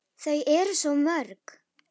Þau eru svo mörg.